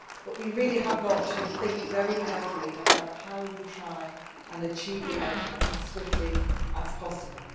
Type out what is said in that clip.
But we really have got to think very carefully about how we try to achieve that outcome as swiftly as possible.